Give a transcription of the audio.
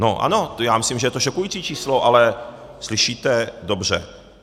No ano, já myslím, že je to šokující číslo, ale slyšíte dobře.